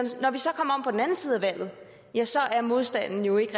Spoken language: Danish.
valget ja så er modstanden jo ikke